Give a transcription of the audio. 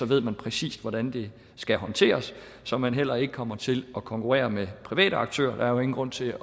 ved man præcis hvordan det skal håndteres så man heller ikke kommer til at konkurrere med private aktører der er jo ingen grund til